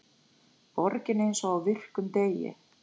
Borgin eins og á virkum degi